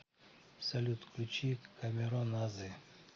салют включи камероназы